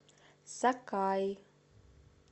сакаи